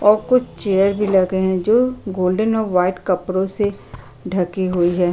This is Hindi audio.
और कुछ चेयर भी लगे हैं जो गोल्डन और वाइट कपडों से ढकी हुई है।